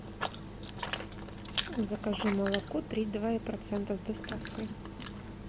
закажи молоко три и два процента с доставкой